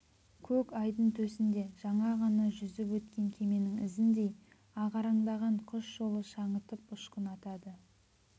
көк айдын төсінде жаңа ғана жүзіп өткен кеменің ізіндей ағараңдаған құс жолы шаңытып ұшқын атады